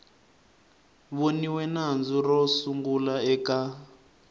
voniwe nandzu ro sungula eka